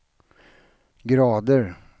grader